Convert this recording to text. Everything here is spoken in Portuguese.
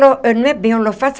Não é bem holofote.